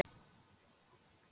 Verður farið aftur til baka?